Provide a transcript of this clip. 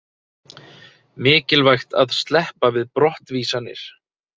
Mikilvægt að sleppa við brottvísanir